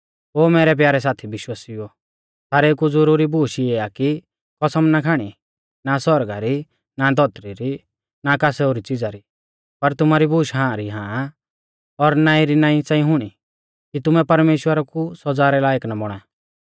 ओ मैरै प्यारै साथी विश्वासिउओ सारेऊ कु ज़ुरुरी बूश इऐ आ कि कसम ना खाणी ना सौरगा री ना धौतरी री ना कास ओरी च़िज़ा री पर तुमारी बूश हां री हां और नाईं री नाईं च़ांई हुणी कि तुमै परमेश्‍वरा कु सौज़ा रै लायक ना बौणा